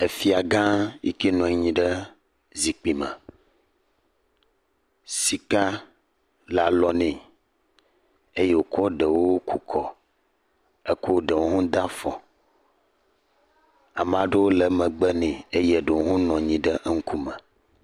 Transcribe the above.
Efia gã yike nɔ anyi ɖe zikpui me. Sika le alo ne eye wokɔ eɖewo kukɔ, ekɔ ɖewo de afɔ. Ame aɖewo le megbe ne eye eɖewo hã nɔ anyi ɖe eŋkume.